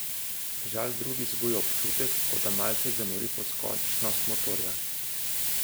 Žal drugi zbuja občutek, kot da malce zamori poskočnost motorja.